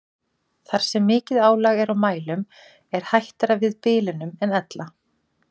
Þar sem mikið álag er á mælum er hættara við bilunum en ella.